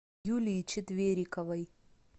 юлии четвериковой